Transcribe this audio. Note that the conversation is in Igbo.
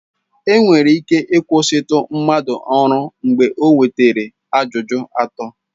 Enwere ike ịkwụsịtụ mmadụ ọrụ mgbe o nwetara ajụjụ atọ.